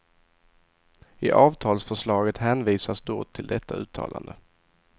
I avtalsförslaget hänvisas då till detta uttalande.